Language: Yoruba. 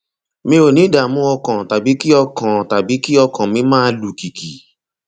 mi ò ní ìdààmú ọkàn tàbí kí ọkàn tàbí kí ọkàn mi máa lù kìkì